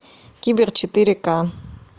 кибер четыре ка